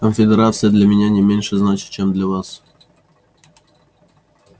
конфедерация для меня не меньше значит чем для вас